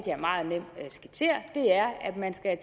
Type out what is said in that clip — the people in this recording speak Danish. jeg meget nemt skitsere er at man skal